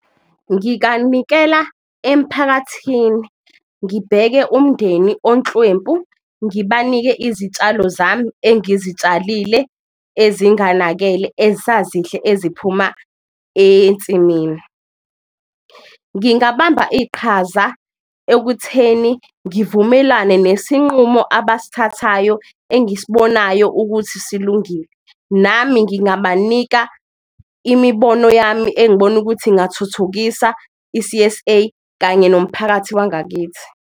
Ngikanikela emphakathini ngibheke umndeni onhlwempu ngibanike izitshalo zami engizitshalile ezinganakele, esazihle eziphuma ensimini, ngingabamba iqhaza ekutheni ngivumelane nesinqumo abasithathayo engisibonayo ukuthi silungile. Nami ngingabanika imibono yami engibona ukuthi ingathuthukisa i-C_S_A kanye nomphakathi wangakithi.